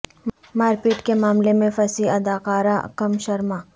مار پیٹ کے معاملہ میں پھنسی اداکارہ کم شرما